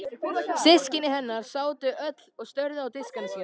Systkini hennar sátu öll og störðu á diskana sína.